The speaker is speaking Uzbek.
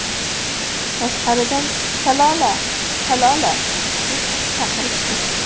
Tashqaridan ‘Shalola, Shalola’ deb chaqirishdi.